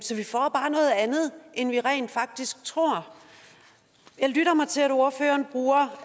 end vi rent faktisk tror jeg lytter mig til at ordføreren bruger